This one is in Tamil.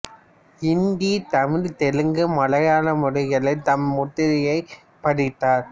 இந்தி தமிழ் தெலுங்கு மலையாள மொழிகளில் தம் முத்திரையைப் பதித்தார்